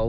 ал